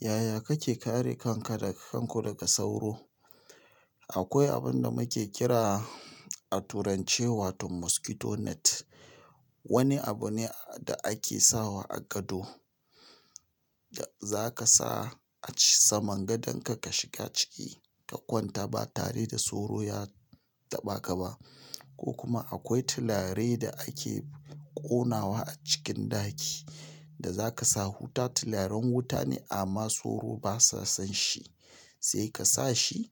Yaya kake kare kanka da kanku daga sauro? Akwai abun da muke kira a turance wato "mosquito net", wani abu ne da ake sawa a gado, da za ka sa a saman gadonka ka shiga ciki ka kwanta ba tare da sauro ya taɓa ka ba. Ko kuma akwai tulare da ake ƙonawa a cikin ɗaki da za ka sa wuta. Tularen wuta ne amma sauro ba sa san shi, sai ka sa shi.